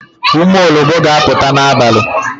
Ụmụ ologbo ga aputa n'abalị